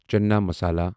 Channa masala